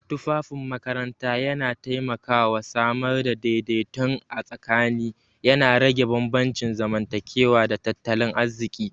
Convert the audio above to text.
Tufafin makaranta yana taimakawa samar da daidaiton a tsakani, yana rage bambancin zamantakewa da tattalin arziki.